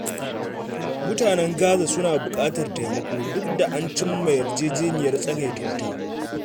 Mutanen Gaza suna buƙatar taimako duk da an cim ma yarjeniyar tsagaita wuta.